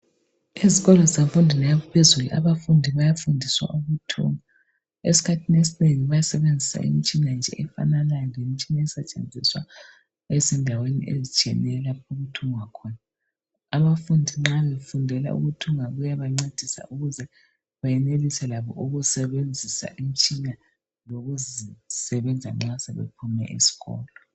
Ezikolweni zemfundweni yaphezulu abafundi bayafundiswa ukuthunga. Esikhathini esinengi bayasebenzisa imitshina nje efananaya lesetshenziswa ezindaweni etshiyeneyo lapho okuthungwa khona . Abafundi nxa befundela ukuthunga kuyabancedisa ukuze bayenelise ukusebenzisa imitshina lokuzisebenza nxa sebephumile esikolo